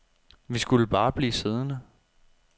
Vi skulle bare blive siddende.